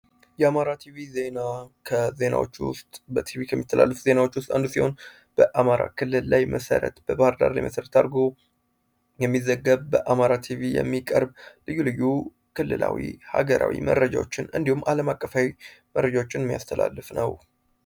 የአማራ ቲቪ ዜና በቲቪ ከሚተላሉፍ ዜናዎች ውስጥ አንዱ ሲሆን በአማራ ክልል ላይ መሠረት በባህርዳር ሊመሠረት አርጎ የሚዘገብ በአማራ ቲቪ የሚቀርብ ልዩ ልዩ ክልላዊ ሀገራዊ መረጃዎችን እንዲሁም ዓለም አቀፋይ መረጃዎችን የሚያስተላልፍ ነው።